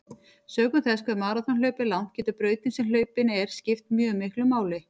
Sökum þess hve maraþonhlaup er langt getur brautin sem hlaupin er skipt mjög miklu máli.